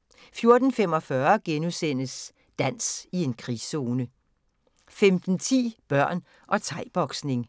* 14:45: Dans i en krigszone * 15:10: Børn og thai-boksning